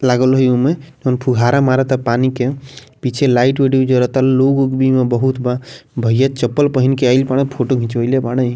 लागइल उमें फुहारा मारता पानी के पीछे लाइट - उट भी जलता लोग-उग भी बहुत बा भईया चप्पल पहन के आइल बाड़े फोटो खिंचवाइले बाड़े।